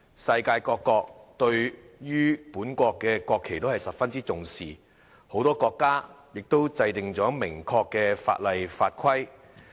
世界各國對於本國的國旗都十分重視，很多國家都制定了明確的法例法規。